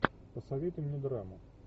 посоветуй мне драму